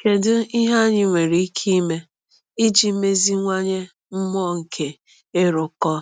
Kedu ihe anyị nwere ike ime iji meziwanye mmụọ nke ịrụkọ